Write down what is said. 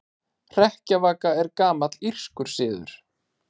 Hrekkjavaka er gamall írskur siður.